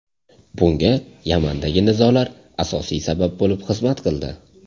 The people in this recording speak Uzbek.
Bunga Yamandagi nizolar asosiy sabab bo‘lib xizmat qildi.